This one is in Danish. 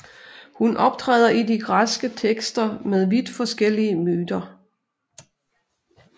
Hun optræder i de græske tekster med vidt forskellige myter